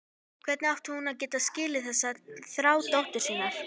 Hvernig átti hún að geta skilið þessa þrá dóttur sinnar?